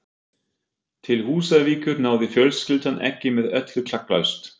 Til Húsavíkur náði fjölskyldan ekki með öllu klakklaust.